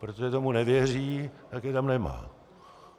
Protože tomu nevěří, tak je tam nemá.